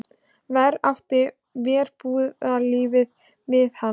Verr átti verbúðarlífið við hann.